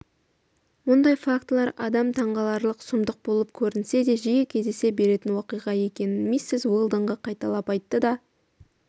мұндай фактылар адам таңғаларлық сұмдық болып көрінсе де жиі кездесе беретін уақиға екенін миссис уэлдонға қайталап айтты да